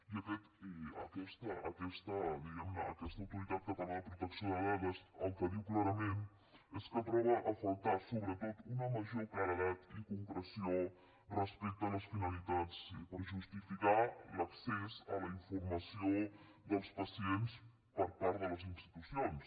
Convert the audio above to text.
i aquesta diguemne autoritat catalana de protecció de dades el que diu clarament és que troba a faltar sobretot una major claredat i concreció respecte a les finalitats i per justificar l’accés a la informació dels pacients per part de les institucions